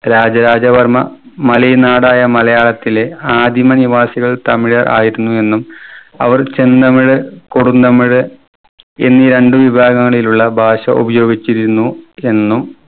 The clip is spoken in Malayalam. രാജരാജ വർമ്മ മലയൻ നാടായ മലയാളത്തിലെ ആദിമ നിവാസികൾ തമിഴർ ആയിരുന്നു എന്നും അവർ ചെന്നമിഴ് കൊടുന്നമിഴ് എന്നീ രണ്ട് വിഭാഗങ്ങളിടയിലുള്ള ഭാഷ ഉപയോഗിച്ചിരുന്നു എന്നും